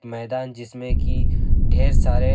मैदान जिसमें कि ढेर सारे--